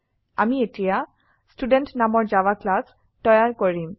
আমি এতিয়া ষ্টুডেণ্ট নামৰ জাভা ক্লাস তৈয়াৰ কৰিম